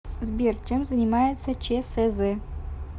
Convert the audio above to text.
сбер чем занимается чсз